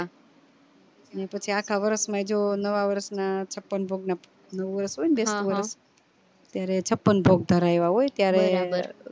પછી અખા વર્ષ માં જો નવા વરસ માં છપન ભોગ નું નવા વરસ હોય ને ત્યારે છપન ભોગ ધરાયા હોય ત્યારે